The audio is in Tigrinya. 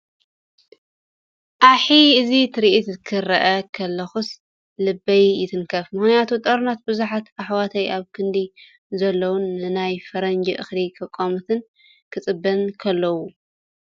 ዓሕ! እዚ ትርኢት ክሪኢ ከለኹስ.... ልበይ ይትንክፍ። ብምኽንያት ጦርነት ብዙሓት ኣሕዋተይ ኣብ ኬንዳ ዘለውን ንናይ ፈረንጂ እኽሊ ከቋምቱን ክፅበዩን .....ከለው